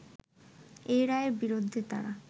এই রায়ের বিরুদ্ধে তারা